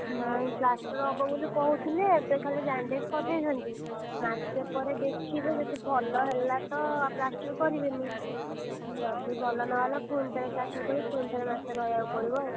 ନାଇଁ plaster ହବ ବୋଲି କହୁଥିଲେ ଏବେ ଖାଲି bandage କରିଦେଇଛନ୍ତି, ମାସେ ପରେ ଦେଖିବେ ଯଦି ଭଲ ହେଲା plaster କରିବେନି, ଯଦି ଭଲ ନ ହେଲା ପୁଣି ଥରେ plaster କରିକି ପୁଣି ଥରେ ମାସେ ରହିଆକୁ ପଡିବ ଆଉ।